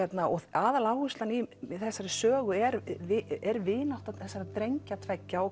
aðaláherslan í þessari sögu er er vinátta þessara drengja tveggja og